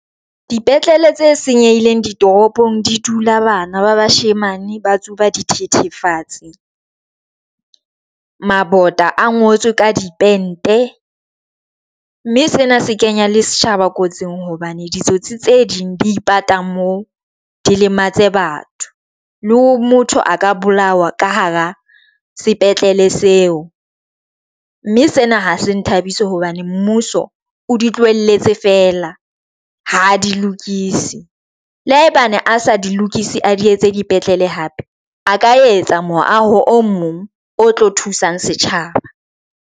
Dipetlele tse senyehileng ditoropong di dula bana ba bashemane ba tsuba di thithifatse. Mabota a ngotswe ka di pente mme sena se kenya le setjhaba kotsing hobane ditsotsi tse ding di ipata mo di lematse batho le ho motho a ka bolawa ka hara sepetlele seo mme sena ha se nthabisa hobane mmuso o di tlohelletse fela, ha di lokise le hae bane a sa di lokise, a di etse dipetlele hape a ka etsa moaho o mong o tlo thusang setjhaba.